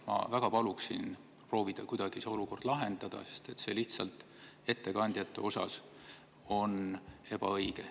Ma väga palun proovida kuidagi see olukord lahendada, sest see on lihtsalt ettekandjate suhtes ebaõige.